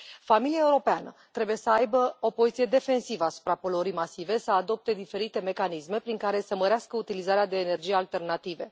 Familia europeană trebuie să aibă o poziție defensivă asupra poluării masive, să adopte diferite mecanisme prin care să mărească utilizarea de energii alternative.